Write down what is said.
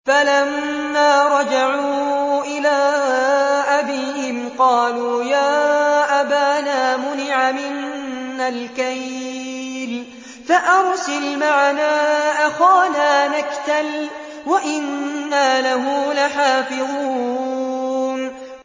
فَلَمَّا رَجَعُوا إِلَىٰ أَبِيهِمْ قَالُوا يَا أَبَانَا مُنِعَ مِنَّا الْكَيْلُ فَأَرْسِلْ مَعَنَا أَخَانَا نَكْتَلْ وَإِنَّا لَهُ لَحَافِظُونَ